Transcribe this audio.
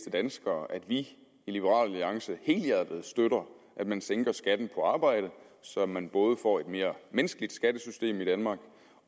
danskere at vi i liberal alliance helhjertet støtter at man sænker skatten på arbejde så man både får et mere menneskeligt skattesystem i danmark